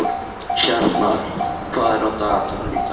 Hjarnar, hvað er á dagatalinu í dag?